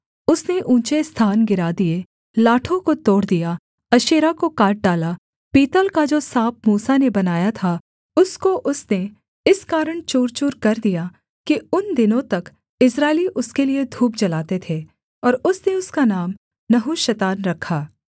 उसने ऊँचे स्थान गिरा दिए लाठों को तोड़ दिया अशेरा को काट डाला पीतल का जो साँप मूसा ने बनाया था उसको उसने इस कारण चूर चूरकर दिया कि उन दिनों तक इस्राएली उसके लिये धूप जलाते थे और उसने उसका नाम नहुशतान रखा